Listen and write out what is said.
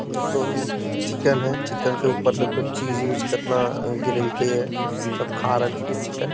देखो चिकेन है | चिकन के ऊपर देखो चीज़ उज कितना गिरलके हे सब खा रहलकै हे चिकेन --